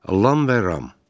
Alam və Ram.